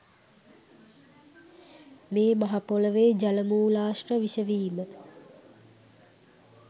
මේ මහ පොළොවේ ජල මූලාශ්‍ර විෂ වීම